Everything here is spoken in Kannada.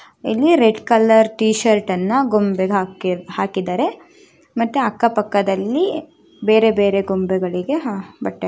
ಇಲ್ಲಿ ರೆಡ್ ಕಲರ್ ಟೀ ಶರ್ಟ್ ಅನ್ನ ಗೊಂಬೆಗೆ ಹಾಕಿ ಹಾಕಿದ್ದಾರೆ ಮತ್ತೆ ಅಕ್ಕ ಪಕ್ಕದಲ್ಲಿ ಬೇರೆ ಬೇರೆ ಗೊಂಬೆಗಳಿಗೆ ಬಟ್ಟೆ --